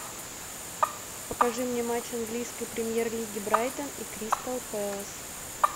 покажи мне матч английской премьер лиги брайтон и кристал пэлас